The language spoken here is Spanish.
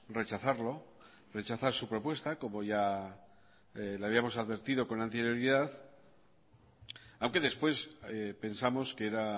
rechazarlo rechazar su propuesta como ya le habíamos advertido con anterioridad aunque después pensamos que era